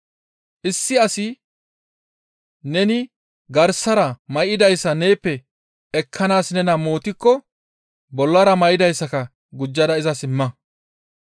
Issi asi neni garsara may7idayssa neeppe ekkanaas nena mootikko bollara may7idayssaka gujjada izas imma.